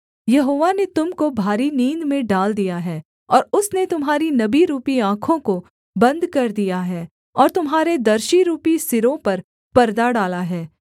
यहोवा ने तुम को भारी नींद में डाल दिया है और उसने तुम्हारी नबीरूपी आँखों को बन्द कर दिया है और तुम्हारे दर्शीरूपी सिरों पर परदा डाला है